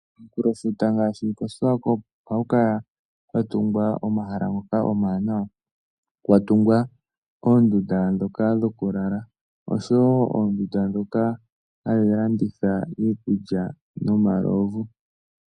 Komunkulofuta ngaashi kOshiwakopo, ohaku kala kwa tungwa omahala ngoka omawanawa, kwa tungwa oondunda ndhoka dhokulala oshowo oondunda ndhoka hadhi landitha iikulya nomalovu.